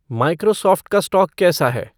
Microsoft का stock कैसा है